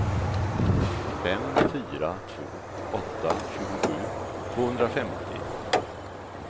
fem fyra två åtta tjugosju tvåhundrafemtio